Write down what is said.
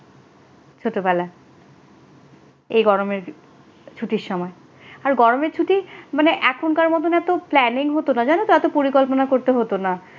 ছোটবেলা এই গরমের ছুটির সময় আর গরমের ছুটি মানে এখনকার মত এত planning হতো না জানো তো এত পরিকল্পনা করতে হতো না।